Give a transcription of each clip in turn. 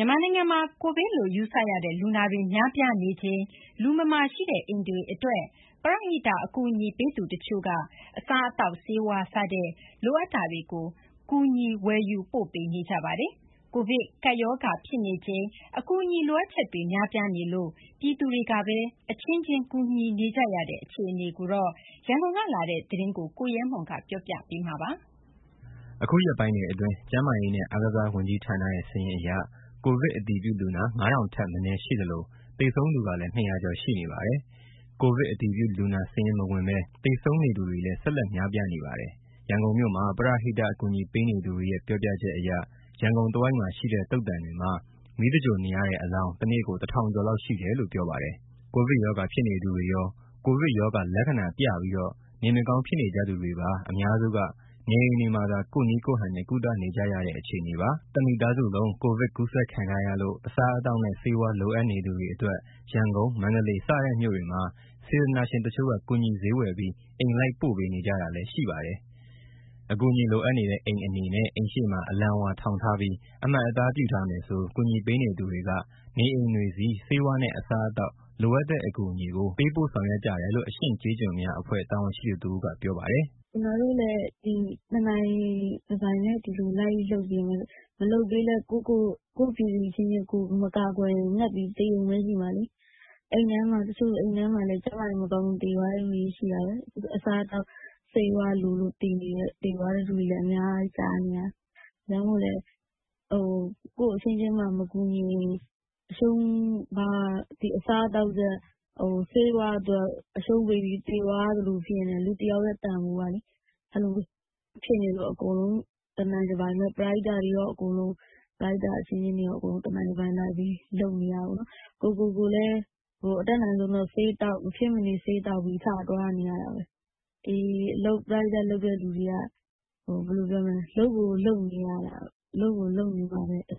ြန်မာနိုင်ငံမှာ ကိုဗစ်လို့ယူဆရတဲ့ လူနာတွေ များပြားနေချိန် လူမမာရှိတဲ့ အိမ်တွေအတွက် ပရဟိတ်အကူအညီပေးသူတချို့က အစားအသောက် ဆေးဝါးစတဲ့ လိုအပ်တာတွေကို ကူညီဝယ်ယူပိုပေး့နေကြပါတယ်။ ကိုဗစ်ကပ်ရောဂါဖြစ်နေချိန် အကူအညီလိုအပ်ချက်တွေ များပြားနေလို့ ပြည်သူတွေကပဲ အချင်းချင်း ကူညီနေကြတဲ့ အခြေအနေအကြောင်း ရန်ကုန်ကလာတဲ့သတင်းကို ကိုရဲမွန် ကတင်ပြပါမယ်။ အခုရက်ပိုင်းတွေအတွင်း ကျန်းမာရေးနဲ့ အားကစားဝန်ကြီးဌာနရဲ့စာရင်းအရ ကိုဗစ်အတည်ပြုလူနာ ၅ ထောင်ထက် မနည်းရှိသလို သေဆုံးသူကလည်း ၂၀၀ ကျော်ရှိနေပါတယ်။ ကိုဗစ်အတည်ပြုလူနာစာရင်းမဝင်ဘဲ သေဆုံးနေသူတွေလည်း ဆက်လက်များပြားနေပါတယ်။ ရန်ကုန်မြို့မှာ ပရဟိတအကူအညီပေးနေသူတွေရဲ့ ပြောပြချက်အရ ရန်ကုန်တဝိုက်မှာရှိတဲ့ သုဿန်တွေမှာ မီးသဂြိုလ်နေရတဲ့အလောင်း တနေ့ကို ၁ ထောင်ကျော်လောက်ရှိတယ်လို့ ပြောပါတယ်။ ကိုဗစ်ရောဂါဖြစ်နေသူတွေရော ကိုဗစ်ရောဂါ လက္ခဏာပြပြီး နေမကောင်းဖြစ်နေကြသူတွေပါအများစုက နေအိမ်တွေမှာသာ ကိုယ့်နည်းကိုယ့်ဟန် ကုသနေကြရတဲ့ အခြေအနေပါ။ တမိသားစုလုံး ကိုဗစ်ကူးစက်ခံထားရလို့ အစားအသောက်နဲ့ ဆေးဝါးလိုအပ်နေသူတွေအတွက် ရန်ကုန်၊ မန္တလေးစတဲ့မြို့တွေမှာ စေတနာရှင်တချို့က ကူညီဈေးဝယ်ပြီး အိမ်လိုက်ပို့ပေးနေကြတာလည်းရှိပါတယ်။ အကူအညီလိုအပ်နေတဲ့ အိမ်အနေနဲ့ အိမ်ရှေ့မှာ အလံဝါထောင်ထားပြီး အမှတ်အသားပြုထားမယ်ဆို ကူညီပေးနေသူတွေက နေအိမ်တွေဆီ ဆေးဝါးနဲ့ အစားအသောက် လိုအပ်တဲ့အကူအညီကို ပေးဖို့ဆောင်ရွက်ကြတယ်လို့ အရှင့်ကျေးကျွန်များအဖွဲ့ တာဝန်ရှိသူတဦးက ပြောပါတယ်။ "ကျနော်တို့လည်း ဒီလိုတနိုင်တပိုင် လိုက်လုပ်ပေးနေရတာပဲ။ မလုပ်ပေးဘဲ ကိုယ့်ပြည်သူအချင်းချင်း မကာကွယ်ရင် ငတ်ပြီးသေရုံပဲရှိမှာလေ။ တချို့ဆို အိမ်ထဲမှာ ကျန်းမာရေးမကောင်းလို့ သေသွားတဲ့သူတွေရှိတယ်။ အစားအသောက်၊ ဆေးဝါးလိုလို့ သေသွားတယ်ဆိုတာတွေ အများကြီးကြားနေရတယ်။ ဒါကြောင့်မို့ ကိုယ့်အချင်းချင်းမှမကူညီရင် ဒီအစားအသောက်နဲ့ ဆေးဝါးအတွက် အရှုံးပေးပြီးသေသွားရသလို ဖြစ်နေတယ်၊ လူတယောက်ရဲ့ တန်ဖိုးကလေ။ အဲလိုဖြစ်နေလို့ ပရဟိတအချင်းချင်းတွေ အကုန်လုံးတနိုင်တပိုင်လိုက်ပြီး လုပ်နေရတာပေါ့နော်။ ကိုယ့်ကိုယ်ကိုယ်လည်း မဖြစ်မနေဆေးသောက်ပြီး ထသွားနေရတာပဲ။ ဒီပရဟိတလုပ်တဲ့သူတွေက လုပ်ကိုလုပ်နေမှ အဆ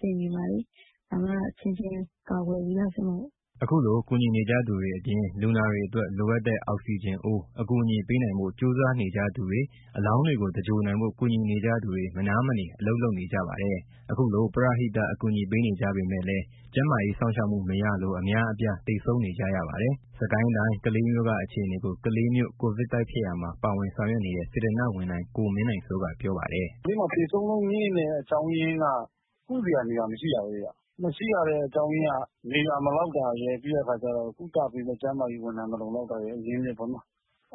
င်ပြေမှာလေ။ ဒါမှ အချင်းချင်းကာကွယ်ပြီးသား ဖြစ်မှာပေါ့။" ခုလိုကူညီနေကြသူတွေအပြင်၊ လူနာတွေအတွက် လိုအပ်တဲ့ အောက်စီဂျင်အိုး အကူအညီပေးနိုင်ဖို့ ကြိုးစားနေကြသူတွေ၊ အလောင်းတွေကို သဂြိုလ်နိုင်ဖို့ ကူညီနေကြသူတွေ မနားမနေ အလုပ်လုပ်နေကြပါတယ်။ ခုလိုပရဟိတအကူအညီပေးနေကြပေမဲ့လည်း ကျန်းမာရေးစောင့်ရှောက်မှု မရလို့ အများအပြားသေဆုံးနေကြရပါတယ်။ စစ်ကိုင်းတိုင်း ကလေးမြို့ က အခြေအနေကို ကလေးမြို့ကိုဗစ်တိုက်ဖျက်ရာမှာ ပါဝင်ဆောင်ရွက်နေတဲ့ စေတနာ့ဝန်ထမ်း ကိုမင်းနိုင်စိုးက ပြောပါတယ်။ "ကလေးမှာ သေဆုံးနှုန်းမြင့်တဲ့ အကြောင်းရင်းက ကုစရာနေရာ မရှိတာပဲဗျ။ မရှိရတဲ့အကြောင်းရင်းက နေရာမလောက်တာရယ်၊ ကုသပေးမယ့် ကျန်းမာရေးဝန်ထမ်း အရင်းအမြစ် မလုံလောက်တာရယ်။ အဲ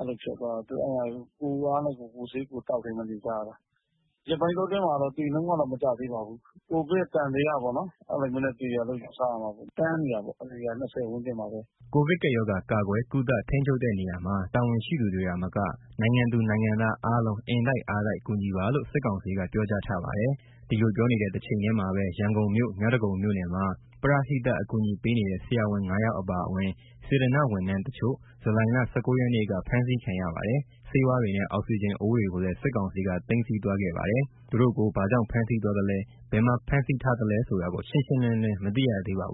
လိုဖြစ်သွားတော့ ကိုယ့်အားနဲ့ကိုယ် ကိုယ့်ဆေးကိုယ်သောက်ပြီး နေကြတယ်။ ဒီရက်ပိုင်းအတွင်းမှာတော့ သေနှုန်းက မကျသေးပါဘူး။ ကိုဗစ်သံသယပေါ့နော် အဲလိုနဲ့သေတယ်လို့ ယူဆရပါတယ်။ တန်းနေတာပေါ့ အရေအတွက်က ၂၀ ဝန်းကျင်မှာပဲ။" ကိုဗစ်ကပ်ရောဂါ ကာကွယ်၊ ကုသ၊ ထိန်းချုပ်တဲ့နေရာမှာ တာဝန်ရှိသူတွေသာမက၊ နိုင်ငံသူနိုင်ငံသားအားလုံး အင်တိုက်အားတိုက် ကူညီပါလို့ စစ်ကောင်စီက ပြောကြားထားပါတယ်။ ဒီလိုပြောနေတဲ့ တချိန်ထဲမှာပဲ ရန်ကုန်မြို့ မြောက်ဒဂုံမြို့နယ်မှာ ပရဟိတအကူအညီပေးနေတဲ့ ဆရာဝန် ၅ ယောက်အပါအဝင် စေတနာ့ဝန်ထမ်းတချို့ ဇူလိုင်လ ၁၉ ရက်နေ့က ဖမ်းဆီးခံရပါတယ်။ ဆေးဝါးတွေနဲ့ အောက်စီဂျင်အိုးတွေကိုလည်း စစ်ကောင်စီက သိမ်းဆည်းသွားခဲ့ပါတယ်။ သူတို့ကို ဘာကြောင့် ဖမ်းဆီးသွားသလဲ ဘယ်မှာ ဖမ်းဆီးထားသလဲဆိုတာ ရှင်းရှင်း မသိရသေးပါဘူး